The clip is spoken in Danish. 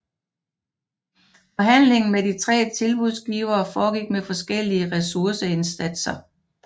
Forhandlingen med de 3 tilbudsgivere foregik med forskellige resurseindsatser